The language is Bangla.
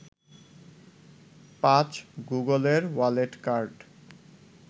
৫. গুগলের ওয়ালেট কার্ড